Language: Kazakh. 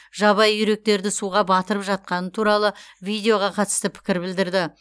жабайы үйректерді суға батырып жатқаны туралы видеоға қатысты пікір білдірді